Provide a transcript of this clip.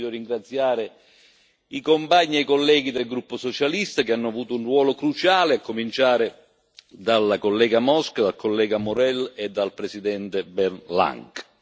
Io voglio ringraziare i compagni e i colleghi del gruppo socialista che hanno avuto un ruolo cruciale, a cominciare dalla collega Mosca, dal collega Maurel e dal presidente Bernd Lange.